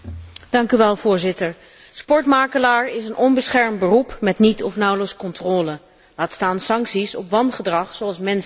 Voorzitter, sportmakelaar is een onbeschermd beroep met niet of nauwelijks controle, laat staan sancties op wangedrag, zoals mensenhandel.